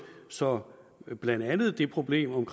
så blandt andet det problem om